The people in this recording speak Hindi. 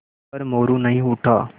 पर मोरू नहीं उठा